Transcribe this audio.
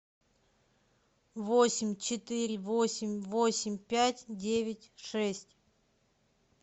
восемь четыре восемь восемь пять девять шесть